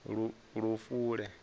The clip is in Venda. lufule